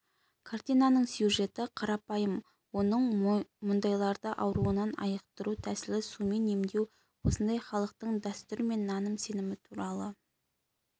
картинаның сюжеті қарапайым оның мұндайларды ауруынан айықтыру тәсілі сумен емдеу осындай халықтық дәстүр мен наным-сенім туралы